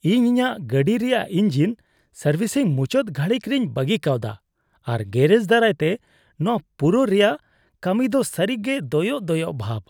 ᱤᱧ ᱤᱧᱟᱹᱜ ᱜᱟᱹᱰᱤ ᱨᱮᱭᱟᱜ ᱤᱧᱡᱤᱱ ᱥᱟᱨᱵᱷᱤᱥᱤᱝ ᱢᱩᱪᱟᱹᱫ ᱜᱷᱟᱹᱲᱤᱠ ᱨᱮᱧ ᱵᱟᱹᱜᱤ ᱠᱟᱣᱫᱟ, ᱟᱨ ᱜᱮᱹᱨᱮᱡ ᱫᱟᱨᱟᱭᱛᱮ ᱱᱚᱶᱟ ᱯᱩᱨᱟᱹᱣ ᱨᱮᱭᱟᱜ ᱠᱟᱹᱢᱤᱫᱚ ᱫᱚ ᱥᱟᱹᱨᱤᱜᱮ ᱫᱚᱭᱚᱜ ᱫᱚᱭᱚᱜ ᱵᱷᱟᱵ ᱾